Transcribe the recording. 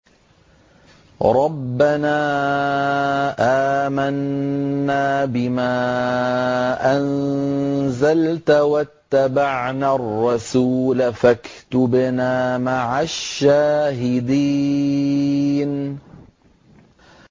رَبَّنَا آمَنَّا بِمَا أَنزَلْتَ وَاتَّبَعْنَا الرَّسُولَ فَاكْتُبْنَا مَعَ الشَّاهِدِينَ